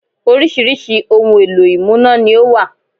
Oríṣiríṣi ohun èlò ìmúná ni ó wà